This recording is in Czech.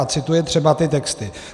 A cituje třeba ty texty.